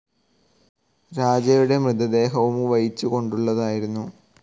രാജയുടെ മൃതദേഹവും വഹിച്ചു കൊണ്ടുള്ളതായിരുന്നു.